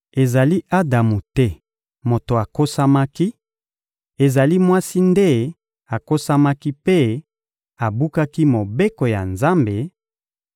Ezali Adamu te moto akosamaki; ezali mwasi nde akosamaki mpe abukaki mobeko ya Nzambe,